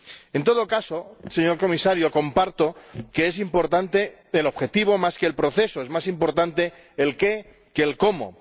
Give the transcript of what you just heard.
En todo caso, señor Comisario, comparto que es importante el objetivo más que el proceso es más importante el qué que el cómo.